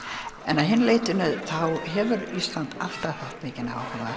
en að hinu leytinu þá hefur Ísland alltaf haft mikinn